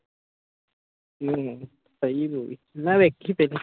ਹਮ ਸਹੀ movie ਮੈਂ ਵੇਖੀ ਫਿਰ।